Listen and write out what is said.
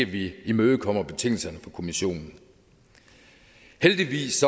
vi ikke imødekommer betingelserne fra kommissionen heldigvis